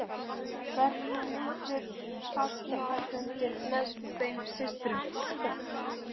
Þar urðu miklir fagnaðarfundir með þeim systrum.